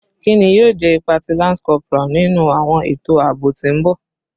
Kini yoo jẹ ipa ti lance corporal ninu awọn eto aabo ti n bọ?